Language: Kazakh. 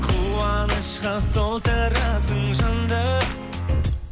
қуанышқа толтырасың жанды